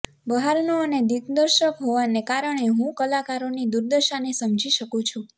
બહારનો અને દિગ્દર્શક હોવાને કારણે હું કલાકારોની દુર્દશાને સમજી શકું છું